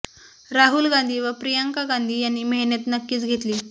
राहुल गांधी व प्रियंका गांधी यांनी मेहनत नक्कीच घेतली